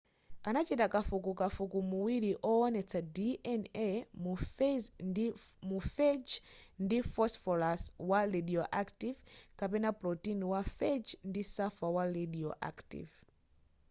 anachita kafukufuku muwiri owonetsa dna mu phage ndi phosphorus wa radioactive kapena protein wa phage ndi sulfur wa radioactive